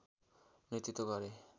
नेतृत्व गरे